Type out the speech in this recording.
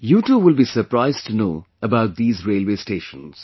You too will be surprised to know about these railway stations